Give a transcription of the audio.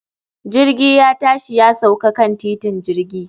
Jirgi ya tashi ya sauka kan titin jirgi